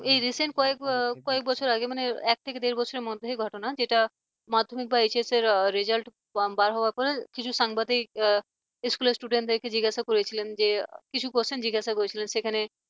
এই recent কয়েক কয়েক বছর আগে মানে এক থেকে দেড় বছরের মধ্যেই ঘটনা যেটা মাধ্যমিক বা HS এর result বার হবার পর কিছু সাংবাদিক school র student র কে জিজ্ঞাসা করেছিলেন যে কিছু question জিজ্ঞাসা করেছিলেন সেখানে